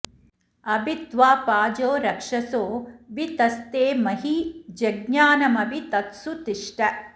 अभि त्वा पाजो रक्षसो वि तस्थे महि जज्ञानमभि तत्सु तिष्ठ